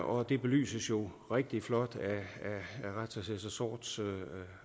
og det belyses jo rigtig flot af retsassessor sorths